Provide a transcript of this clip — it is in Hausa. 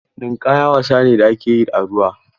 Ninƙaya wasa ne da ake yi a ruwa.